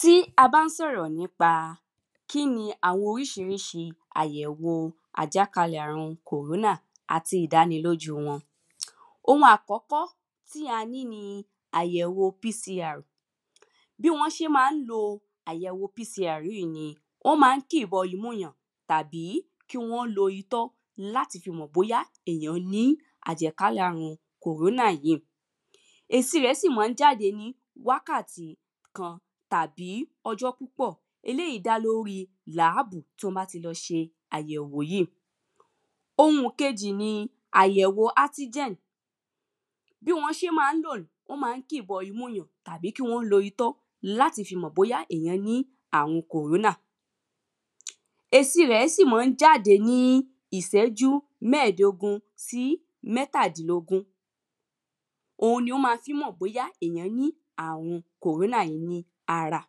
Tí a bá ń sọ̀rọ̀ nípa kíni àwọn oríṣiríṣi àyẹ̀wò àjákalẹ̀ àrun kòrónà àti ìdánilójú wọn. Ohun àkọ́kọ́ tí a ní ni àyẹ̀wò PCR. Bí wọ́n ṣé má ń lo àyẹ̀wò PCR ni wọ́n má ń kì bọ imú ìyàn tàbí kí wọ́n lo itọ́ láti fi mọ̀ bóyá èyàn ní àjákálẹ̀ àrùn kòrónà yìí èsì rẹ̀ sì má ń jáde ní wákàtí kan tàbí ọjọ́ púpọ̀ eléèyí dá lórí làábùù tí wọ́n bá ti ṣe àyẹ̀wò yìí. Ohun kejì ni àyẹ̀wò átígẹn bí wọ́n ṣé má ń lò ó wọ́n má ń kì í bọ imú èyàn tàbí kí wọ́n lo itọ́ láti fi le mọ̀ bóyá èyàn ní àrùn kòrónà. Èsì rẹ̀ sì má ń jáde ní ìsẹ́jú mẹ́ẹ̀dógún tàbí mẹ́tàdínlógún. Ohun ná má fí mọ̀ bóyá èyàn ní àrùn kòrónà ní ara.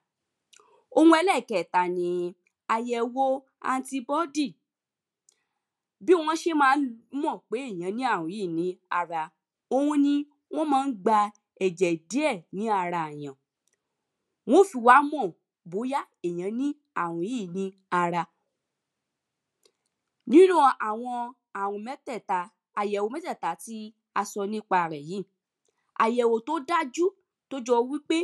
Àyẹ̀wò anti-body bí wọ́n ṣé má ń mọ̀ bóyá èyàn ní àrùn yíì ní ara ohun ni wọ́n má ń gba ẹ̀jẹ̀ díẹ̀ lára èyàn wọ́n ó sì wá mọ̀ bóyá èyàn ní àrùn yíì ní ara. Nínú àwọn àrùn mẹ́tẹ̀ẹ̀ta àyẹ̀wò mẹ́tẹ̀ẹ̀ta tí a sọ nípa rẹ̀ yìí àyẹ̀wò tó dájú tó jọ wípé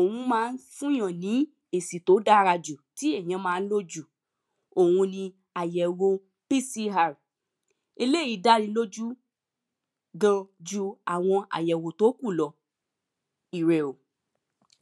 ohun má ń fún yàn ní èsì tó dára jù tí èyàn má ń lò jù ohun ni àyẹ̀wò PCR. Eléèyí dáni lójú gan ju àwọn àyẹ̀wò tó kù lọ ire o.